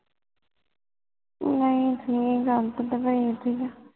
ਨਾਈ ਜੀ ਗੱਲ ਤੇ ਦੁਬਈ ਦੀ ਹੈ